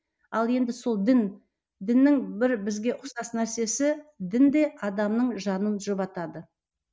ал енді сол дін діннің бір бізге ұқсас нәрсесі дін де адамның жанын жұбатады